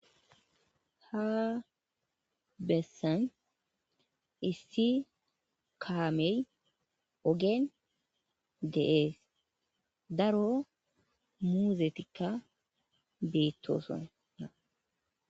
ha bessan issi kaamey ogen de7ees daro muuzetikka beettoosona.